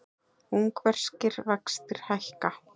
Ungverskir vextir hækka